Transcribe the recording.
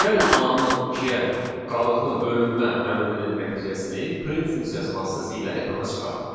Gəlin A-nın ikiyə qalıqlı bölünmə əmrinin nəticəsini print funksiyası vasitəsilə ekrana çıxardaq.